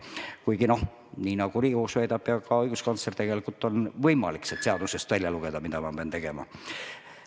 Kuigi, nii nagu väidab Riigikohus ja ka õiguskantsler, on tegelikult võimalik sealt seadusest välja lugeda, mida peab tegema.